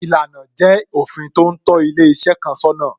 Ìlànà jẹ́ òfin tó ń tó ilé iṣẹ́ kan sọ́nà